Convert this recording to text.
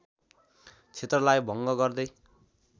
क्षेत्रलाई भङ्ग गर्दै